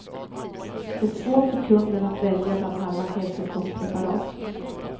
Det är svårt för kunden att välja bland alla hälsokostpreparat.